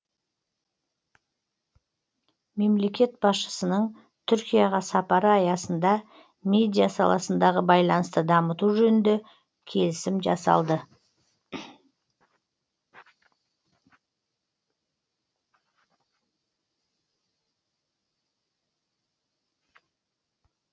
мемлекет басшысының түркияға сапары аясында медиа саласындағы байланысты дамыту жөнінде келісім жасалды